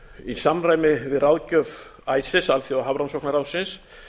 í samræmi við ráðgjöf ices alþjóðahafrannsóknaráðsins